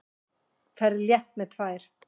Ferð létt með tvær.